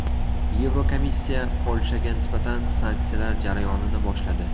Yevrokomissiya Polshaga nisbatan sanksiyalar jarayonini boshladi.